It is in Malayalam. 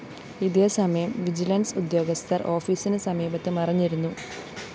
ഇതേസമയം വിജിലൻസ്‌ ഉദ്യോഗസ്ഥര്‍ ഓഫീസിന് സമീപത്ത് മറഞ്ഞിരുന്നു